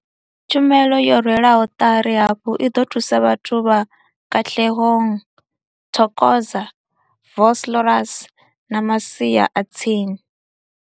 Tshumelo yo rwelwaho ṱari hafhu i ḓo thusa vhathu vha Katlehong, Thokoza, Vosloorus na masia a tsini.